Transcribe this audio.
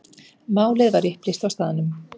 Málið var upplýst á staðnum.